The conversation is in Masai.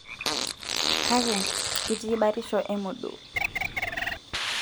Kake, itii batisho emodoo.